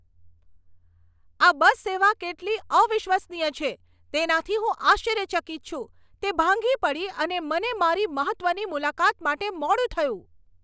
આ બસ સેવા કેટલી અવિશ્વસનીય છે, તેનાથી હું આશ્ચર્યચકિત છું. તે ભાંગી પડી અને મને મારી મહત્ત્વની મુલાકાત માટે મોડું થયું!